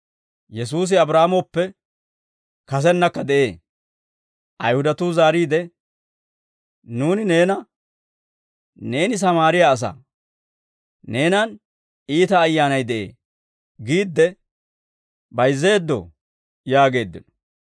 Ayihudatuu zaariide, «Nuuni neena, ‹Neeni Sammaariyaa asaa; neenan iita ayyaanay de'ee› giidde bayizzeeddoo?» yaageeddino.